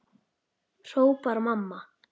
hrópar mamma.